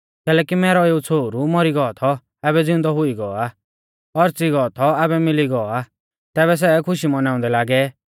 कैलैकि मैरौ एऊ छ़ोहरु मौरी गौ थौ आबै ज़िउंदौ हुई गौ आ औच़ी गौ थौ आबै मिली गौ आ तैबै सै खुशी मौनाउंदै लागै